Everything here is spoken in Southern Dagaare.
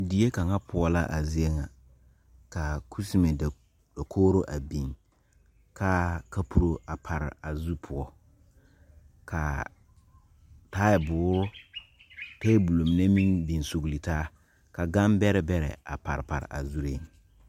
Deɛ kanga pou la a zeɛ nga kaa kusime dakouri a bing kaa kapuri a pare a zu pou kaa taabuuri tabol mene meng bing suglo taa ka gang bere bere a pare pare a zuring.